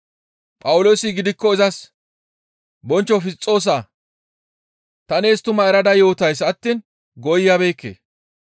Phawuloosi gidikko izas, «Bonchcho Fisxoosaa! Ta nees tumaa erada yootays attiin gooyabeekke.